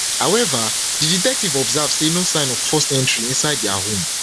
however di detective observe no sign of forced entry inside dia home